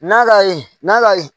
N'a ka ye n'a ka